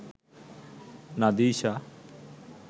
nadisha